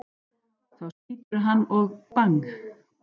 Þá skýturðu hann og BANG!